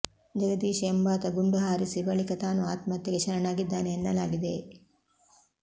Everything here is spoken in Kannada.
ಜಗದೀಶ್ ಎಂಬಾತ ಗುಂಡು ಹಾರಿಸಿ ಬಳಿಕ ತಾನೂ ಆತ್ಮಹತ್ಯೆಗೆ ಶರಣಾಗಿದ್ದಾನೆ ಎನ್ನಲಾಗಿದೆ